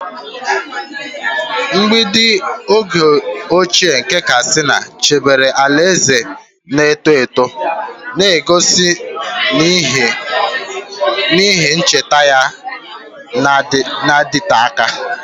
Mgbidi oge ochie nke Katsina chebere alaeze na-eto eto, na-egosi na ihe nketa ya na-adịte aka.